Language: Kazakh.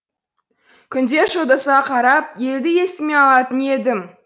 күнде жұлдызға қарап елді есіме алатын едім